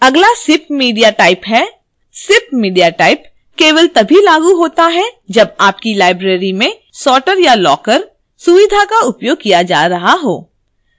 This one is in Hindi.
अगला sip media type है sip media type केवल तभी लागू होता है जब आपकी लाइब्रेरी में सॉर्टर या लॉकर सुविधा का उपयोग किया जा रहा हो